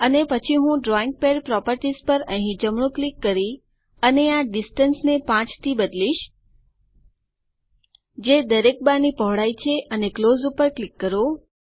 અને પછી હું ડ્રોઈંગ પેડ પ્રોપરટીશ પર અહીં જમણું ક્લિક કરી અને આ ડિસ્ટન્સ ને 5 થી બદલીશ જે દરેક બાર ની પહોળાઈ છે અને ક્લોઝ પર ક્લિક કરો